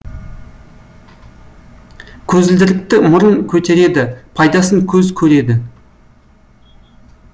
көзілдірікті мұрын көтереді пайдасын көз көреді